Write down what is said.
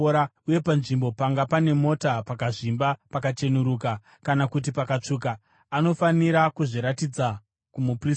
uye panzvimbo panga pane mota pakazvimba pakacheneruka kana kuti pakatsvuka, anofanira kuzviratidza kumuprista.